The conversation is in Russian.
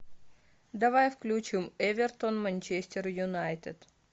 давай включим эвертон манчестер юнайтед